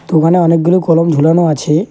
দোকানে অনেকগুলো কলম ঝোলানো আছে।